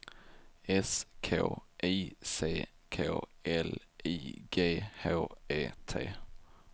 S K I C K L I G H E T